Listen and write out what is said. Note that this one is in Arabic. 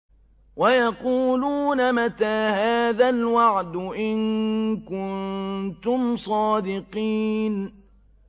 وَيَقُولُونَ مَتَىٰ هَٰذَا الْوَعْدُ إِن كُنتُمْ صَادِقِينَ